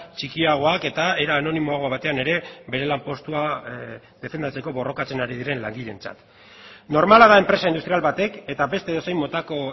txikiagoak eta era anonimoago batean ere bere lanpostua defendatzeko borrokatzen ari diren langileentzat normala da enpresa industrial batek eta beste edozein motako